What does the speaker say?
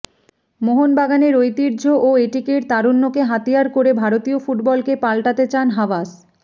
মোহনবাগানের ঐতিহ্য ও এটিকের তারুণ্যকে হাতিয়ার করে ভারতীয় ফুটবলকে পাল্টাতে চান হাবাস